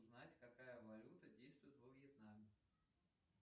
узнать какая валюта действует во вьетнаме